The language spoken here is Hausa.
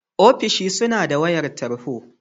Ofishi suna da wayar tarho.